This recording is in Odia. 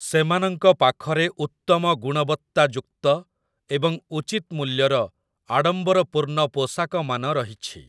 ସେମାନଙ୍କ ପାଖରେ ଉତ୍ତମ ଗୁଣବତ୍ତାଯୁକ୍ତ ଏବଂ ଉଚିତ ମୂଲ୍ୟର ଆଡ଼ମ୍ବରପୂର୍ଣ୍ଣ ପୋଷାକମାନ ରହିଛି ।